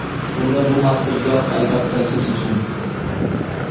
unda bu master-klass albatta siz uchun.